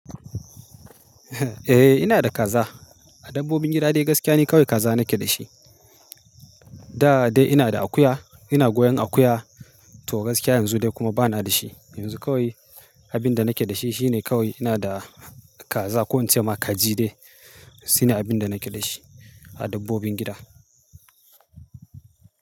Eh ina da kaza. A dabbobin gida dai gaskiya ne kawai kaza nake da shi. Da dai ina da akuya. Ina goyon akuya to gaskiya yanzu dai kuma bana da shi. Yanzu kawai abin da nake da shi shi ne kawai ina da kaza ko in ce ma kaji dai shine abin da nake da shi a dabbobin gida.